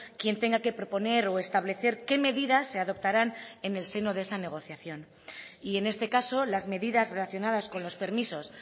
quien tenga que proponer o establecer qué medidas se adoptarán en el seno de esa negociación y en este caso las medidas relacionadas con los permisos